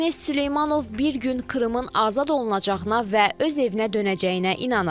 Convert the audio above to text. Ernest Süleymanov bir gün Krımın azad olunacağına və öz evinə dönəcəyinə inanır.